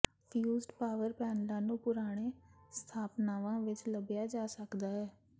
fused power ਪੈਨਲਾਂ ਨੂੰ ਪੁਰਾਣੇ ਸਥਾਪਨਾਵਾਂ ਵਿੱਚ ਲੱਭਿਆ ਜਾ ਸਕਦਾ ਹੈ